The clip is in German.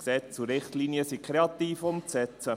Gesetz und Richtlinien sind kreativ umzusetzen.